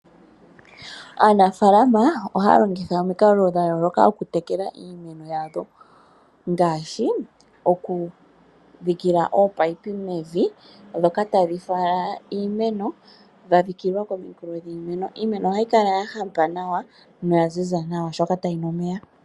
Aanafalama ohaya longitha omikalo dha yooloka oku tekela iimeno yawo, ngaashi okudhikila ominino mevi dhoka tadhi fala iimeno dha dhikilwa momikweyo dhiimeno. Iimeno ohayi kala ya hapa nawa noya ziza nawa oshoka otayi nu omeya.